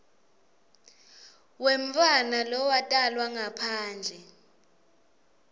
wemntfwana lowatalwa ngaphandle